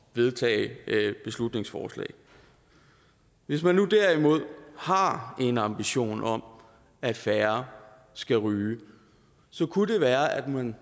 vedtage et beslutningsforslag hvis man derimod har en ambition om at færre skal ryge kunne det være at man